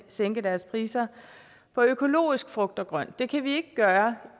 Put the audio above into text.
sænke deres priser på økologisk frugt og grønt det kan vi ikke gøre